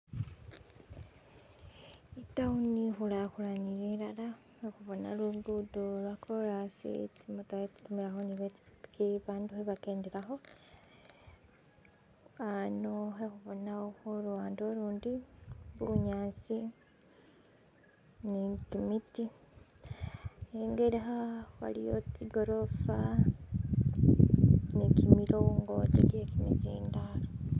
I-town ikhulakhulanile ilala, khakhubona lugudo lwokorasi, tsimotokha kha tsitimilakho, bandu kha bakendelakho, ano khakhubona khuluwande ulundi bunyasi ni kimiti ingelekha waliyo tsigolofa ne kimilongoti kye kimisindalo.